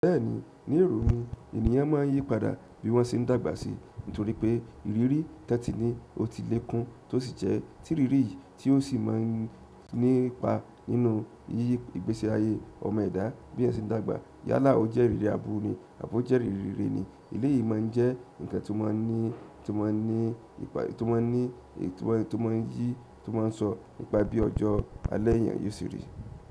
Bẹ́ẹ̀ni, ní èrò mi ènìyàn máa ń yí padà bí wọ́n ṣe ń dàgbà si. Nítorí pé ìrírí tí wón ti ní ó ti lé kún tó sì jẹ́ tírirí yìí tí ò sì máa ń nípa nínú iye ìgbésí ayé ọmọ ẹ̀dá bí èèyàn se n dàgbà. Yálà ó jẹ́ ìrírí aburú ni àbó jẹ́ ìrírí rere ni. Eléyìí máa ń jẹ́ ǹkan tó máa ń ní, tó máa ń ní, tó máa ń ní, tó máa ń yí, tó máa ń sọ nípa bí ọjọ́ alẹ́ èèyàn yóò ṣe rí.